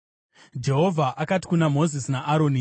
Jehovha akati kuna Mozisi naAroni,